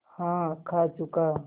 हाँ खा चुका